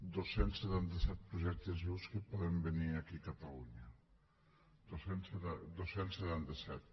dos cents i setanta set projectes vius que poden venir aquí a catalunya dos cents i setanta set